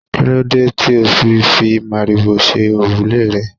Kíló dé tí o fi fi màrìwò ṣe òrùlé rẹ?